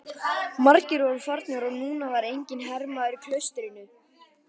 Margir voru farnir og núna var enginn hermaður í klaustrinu.